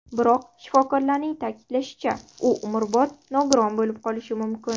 Biroq shifokorlarning ta’kidlashicha, u umrbod nogiron bo‘lib qolishi mumkin.